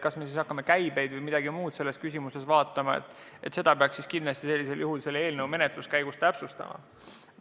Kas me siis hakkame käibeid või midagi muud vaatama, seda peaks kindlasti eelnõu menetluse käigus täpsustama.